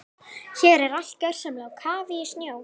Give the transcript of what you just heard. Hér er allt gjörsamlega á kafi í snjó.